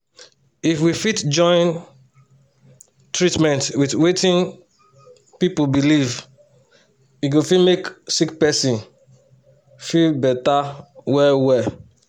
if we fit join the treatment with wetin people believe e go fit make sick person feel better well well.